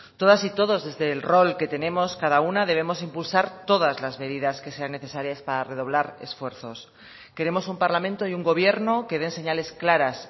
todas y todos desde el rol que tenemos cada una debemos impulsar todas las medidas que sean necesarias para redoblar esfuerzos queremos un parlamento y un gobierno que den señales claras